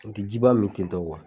N tɛ jiba min tentɔ